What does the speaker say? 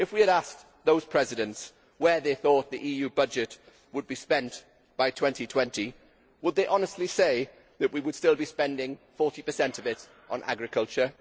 If we had asked those presidents where they thought the EU budget would be spent by 2020, would they honestly say that we would still be spending 40 of it on agriculture?